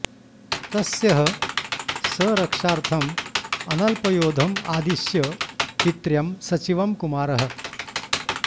तस्यः स रक्षार्थं अनल्पयोधं आदिष्य पित्र्यं सचिवं कुमारः